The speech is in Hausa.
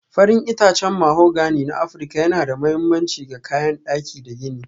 Farin itacen mahogani na Afirka yana da mahimmanci ga kayan daki da gini.